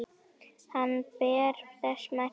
Hann ber þess merki